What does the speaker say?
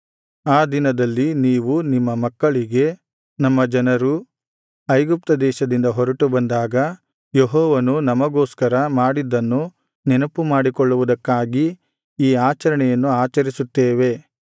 ಆ ದಿನದಲ್ಲಿ ನೀವು ನಿಮ್ಮ ಮಕ್ಕಳಿಗೆ ನಮ್ಮ ಜನರು ಐಗುಪ್ತ ದೇಶದಿಂದ ಹೊರಟು ಬಂದಾಗ ಯೆಹೋವನು ನಮಗೋಸ್ಕರ ಮಾಡಿದ್ದನ್ನು ನೆನಪು ಮಾಡಿಕೊಳ್ಳುವುದಕ್ಕಾಗಿ ಈ ಆಚರಣೆಯನ್ನು ಆಚರಿಸುತ್ತೇವೆ